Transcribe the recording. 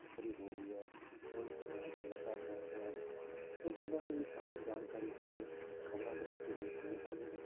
ਤਸ਼ਕਰੀ ਹੋ ਰਹੀ ਹੈ ਜੋ ਸਮਾਜ ਨਸ਼ਾ ਫੈਲ ਰਿਹਾ ਹੈ, ਉਸ ਬਾਰੇ ਵੀ ਸਾਨੂੰ ਜਾਣਕਾਰੀ ਕਿਤੇ ਖ਼ਬਰਾਂ ਦੇ ਰਸਤੇ ਹੀ ਮਿਲ ਪਾਉਂਦੀ ਹੈ